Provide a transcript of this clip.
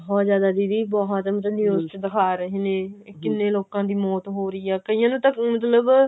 ਬਹੁਤ ਜ਼ਿਆਦਾ ਦੀਦੀ ਬਹੁਤ ਮਤਲਬ news ਚ ਦਿਖਾ ਰਹੇ ਨੇ ਕਿੰਨੇ ਲੋਕਾਂ ਦੀ ਮੌਤ ਹੋ ਰਹੀ ਏ ਕਈਆਂ ਨੂੰ ਤਾਂ ਮਤਲਬ